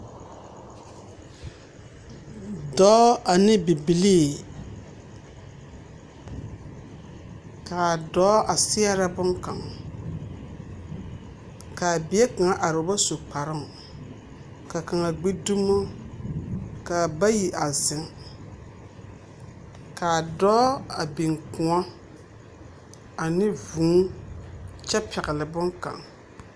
Dͻͻ ane bibilii, kaa dͻͻ a seԑrԑ boŋkaŋ. Ka a bie kaŋa are o bas u kparoŋ. Ka kaŋa gbidumo, ka na bayi a zeŋ. Kaa a dͻͻ a biŋ kõͻ ane vũũ kyԑ pԑgele boŋkaŋ.